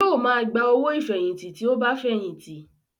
Yóò máa gba owó ìfẹ̀yìntì tí ó bá fẹ̀yìntì